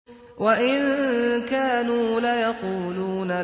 وَإِن كَانُوا لَيَقُولُونَ